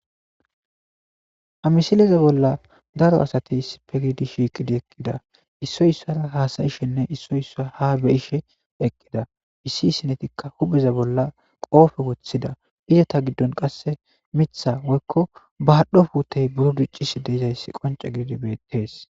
Ha misileza bolla daro asatey issife giidi shiiqidi eqqida issoy issara haasayishenne issoy issa ha beyishe eqqida issi sinetikka hupheza bolla qoofe woththida izata giddon qasse mitha woykko bahadhdhopuutey buro diccis deizayssi qonce giidi bettees